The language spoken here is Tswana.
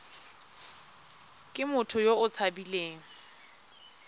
ke motho yo o tshabileng